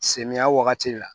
Samiyɛ wagati la